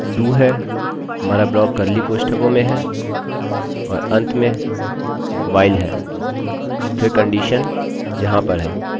हमारे पास do है हमारा ब्लाक कर्ली curly कोष्ठकों में है और अंत में while है फिर कंडीशन यहाँ पर है अतः यह कन्डिशनconditionशर्तहै